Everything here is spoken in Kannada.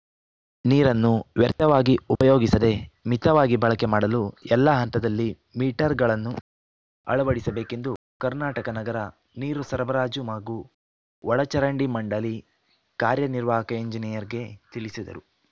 ನೀರನ್ನು ವ್ಯರ್ಥವಾಗಿ ಉಪಯೋಗಿಸದೆ ಮಿತವಾಗಿ ಬಳಕೆ ಮಾಡಲು ಎಲ್ಲಾ ಹಂತದಲ್ಲಿ ಮೀಟರ್‌ಗಳನ್ನು ಅಳವಡಿಸಬೇಕೆಂದು ಕರ್ನಾಟಕ ನಗರ ನೀರು ಸರಬರಾಜು ಮಾಗೂ ಒಳಚರಂಡಿ ಮಂಡಳಿ ಕಾರ್ಯನಿರ್ವಾಹಕ ಎಂಜಿನಿಯರ್‌ಗೆ ತಿಳಿಸಿದರು